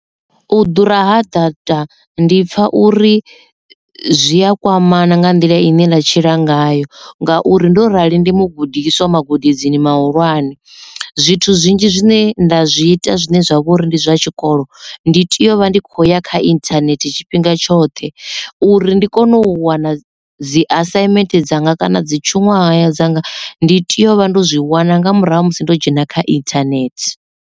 U ḓura ha data ndi pfha uri zwi a kwamana nga nḓila ine nda tshila ngayo ngauri ndo rali ndi mugudiswa magudedzini mahulwane zwithu zwinzhi zwine nda zwi ita zwine zwa vha uri ndi zwa tshikolo ndi tea u vha ndi khou ya kha internet tshifhinga tshoṱhe uri ndi kone u wana dzi assignment dzanga kana dzi tshiṅwahaya dzanga ndi tea u vha ndo zwi wana nga murahu ha musi ndo dzhena kha internet.